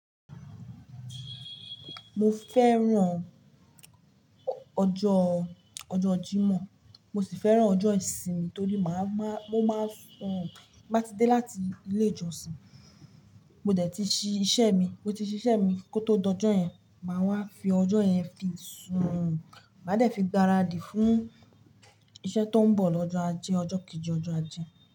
Mo fẹ́ràn ọjọ́, ọjọ́ Jímọ̀. Mo sì fẹ́ràn ọjọ́ ìsinmi torí màá máa, mo máa sùn. Bí mo bá ti dé láti ilé ìjọsìn, mo dẹ̀ ti ṣí iṣẹ́ mi, mo ti ṣí iṣẹ́ mi kó tó dọ̀jọ́ yẹn, màá wá fi ọjọ́ yẹn fi sùn. Màá dẹ̀ fi gbaradì fún iṣẹ́ tó ń bọ̀ lọ́jọ́ Ajé, ọjọ́ kejì, ọjọ́ Ajé.